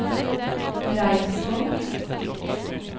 Reinsvoll